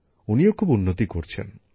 উনিও খুব উন্নতি করছেন